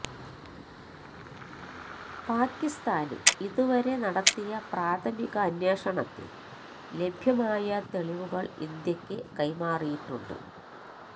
പാക്കിസ്ഥാന് ഇതുവരെ നടത്തിയ പ്രാഥമികാന്വേഷണത്തില് ലഭ്യമായ തെളിവുകള് ഇന്ത്യയ്ക്കു കൈമാറിയിട്ടുണ്ട്